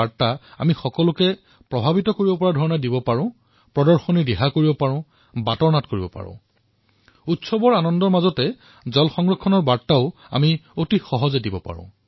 ইয়াত আমি কাৰ্যকৰীভাৱে মঞ্চ ব্যৱহাৰ কৰি অথবা বাটৰ নাটেৰে জল সংৰক্ষণৰ বাৰ্তা প্ৰদান কৰিব পাৰো আৰু অতি সহজে উৎসৱৰ উৎসাহৰ মাজত জল সংৰক্ষণৰ বাৰ্তা বিনিময় কৰিব পাৰো